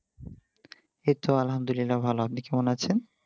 এই তো আল্লাহামদুল্লিয়া ভালো আপনি কেমন আছেন?